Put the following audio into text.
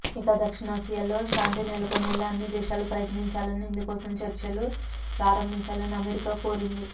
ఇక దక్షిణాసియాలో శాంతినెలకొనేలా అన్ని దేశాలు ప్రయత్నించాలని ఇందుకోసం చర్చలు ప్రారంభించాలని అమెరికా కోరింది